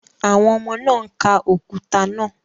Àwọn ọmọ náà ń ka òkúta náà